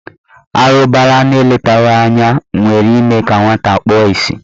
Arụbara na eletaghị anya nwere ime ka nwata kpuo isi.